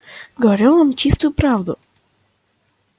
говорю вам чистую правду